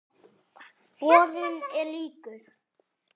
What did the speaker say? Borinn er líkur